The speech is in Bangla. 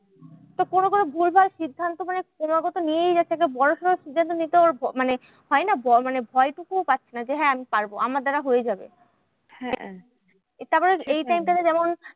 তো কোনো কোনো ভুলভাল সিদ্ধান্ত গুলো ক্রমাগত নিয়েই যাচ্ছে একটা বড়োসড়ো সিদ্ধান্ত নিতে ওর মানে হয় না? মানে ভয় টুকুও পাচ্ছে না যে হ্যাঁ আমি পারবো আমার দ্বারা হয়ে যাবে। তারপরে এই time টা তে যেমন